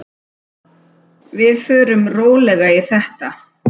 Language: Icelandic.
Við förum rólega í þetta.